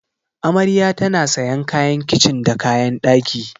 Amarya tana sayan kayan kicin da kayan ɗaki.